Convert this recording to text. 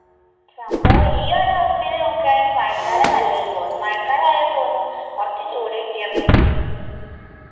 സംഭവം ഈ ഒരു അവസ്ഥയിൽ നോക്കാനെങ്കിൽ മഴ കാല നല്ലത് തോന്നും മഴക്കാലായ തോന്നും കുറച്ച് ചൂട് കിട്ടീർന്നെങ്കിന്ന്